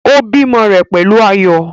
Ó bímọ rẹ̀ pẹ̀lú ayọ̀